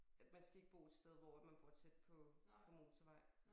At man skal ikke bo et sted hvor at man bor tæt på på motorvej